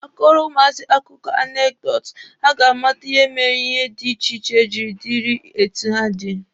A kọọrọ ụmụazị akụkọ anekdotu, ha ga amata ihe mere ihe dị iche iche jiri dịrị etu ha dị.